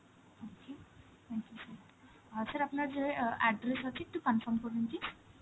okay, thank you sir. অ্যাঁ sir আপনার যে অ্যাঁ address আছে, একটু confirm করুন please.